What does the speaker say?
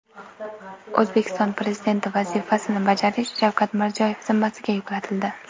O‘zbekiston Prezidenti vazifasini bajarish Shavkat Mirziyoyev zimmasiga yuklatildi .